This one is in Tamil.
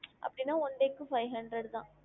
அப்டினா one day க்கு five hundred தான்